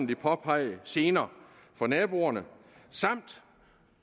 de påpegede gener for naboerne samt